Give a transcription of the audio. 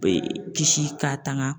Bɛ kisi ka tanga.